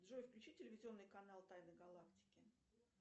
джой включи телевизионный канал тайны галактики